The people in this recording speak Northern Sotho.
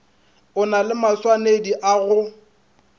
na le maswanedi a go